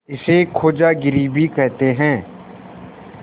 इसे खोजागिरी भी कहते हैं